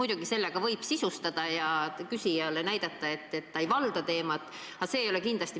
Kui te minu küsimust kuulasite, siis teate, et ma rääkisin tasandusfondist.